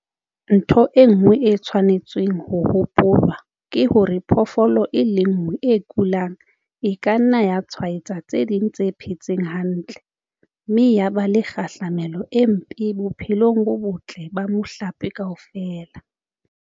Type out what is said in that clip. Ntho e nngwe e tshwanetseng ho hopolwa ke hore phoofolo e le nngwe e kulang e ka nna ya tshwaetsa tse ding tse phetseng hantle, mme ya ba le kgahlamelo e mpe bophelong bo botle ba mohlape kaofela!